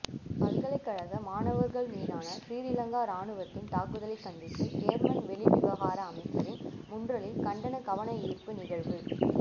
பல்கலை மாணவர்கள் மீதான சிறீலங்கா ராணுவத்தின் தாக்குதலை கண்டித்து யேர்மன் வெளிவிவகார அமைச்சின் முன்றலில் கண்டன கவனயீர்ப்பு நிகழ்வு